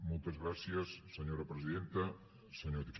moltes gràcies senyora presidenta senyor diputat